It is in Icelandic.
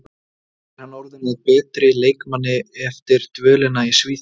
Er hann orðinn að betri leikmanni eftir dvölina í Svíþjóð?